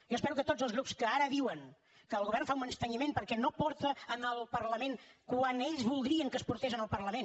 jo espero que tots els grups que ara diuen que el govern fa un menysteniment perquè no porta al parlament quan ells voldrien que es portés al parlament